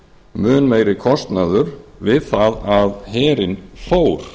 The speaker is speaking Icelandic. mun meiri kostnaður við það að herinn fór